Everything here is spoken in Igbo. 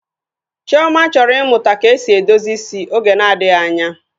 Chioma chọrọ ịmụta ka esi edozi isi oge na-adịghị anya